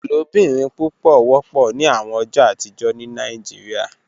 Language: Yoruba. Ilobirin pupọ wọpọ ni awọn ọjọ atijọ ni Nigeria